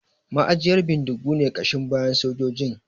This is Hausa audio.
Ma'ajiyar bindigu ne ƙashin bayan sojojin